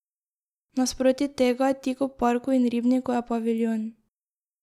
Nasproti tega, tik ob parku in ribniku, je paviljon.